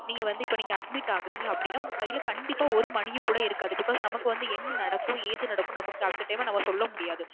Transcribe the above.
நீங்க வந்து இப்போ நீங்க admit ஆகுறீங்க அப்பிடின்னா உங்க கையில கண்டிப்பா ஒரு money யும் கூட இருக்காது. Because நமக்கு வந்து என்ன நடக்கும் ஏது நடக்கும் நமக்கு அந்த time ல நாம சொல்ல முடியாது.